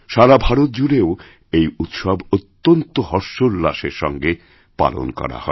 সারা ভারত জুড়েও এই উৎসব অত্যন্ত হর্ষোল্লাসের সঙ্গে পালন করাহয়